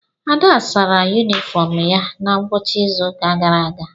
Ada sara yunifọọm ya na ngwụcha izu ụka gara aga.